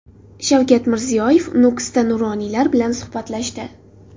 Shavkat Mirziyoyev Nukusda nuroniylar bilan suhbatlashdi.